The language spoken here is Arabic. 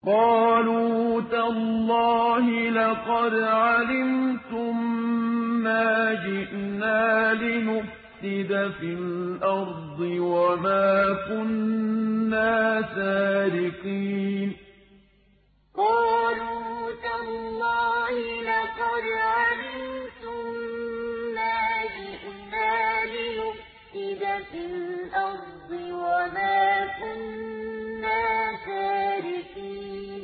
قَالُوا تَاللَّهِ لَقَدْ عَلِمْتُم مَّا جِئْنَا لِنُفْسِدَ فِي الْأَرْضِ وَمَا كُنَّا سَارِقِينَ قَالُوا تَاللَّهِ لَقَدْ عَلِمْتُم مَّا جِئْنَا لِنُفْسِدَ فِي الْأَرْضِ وَمَا كُنَّا سَارِقِينَ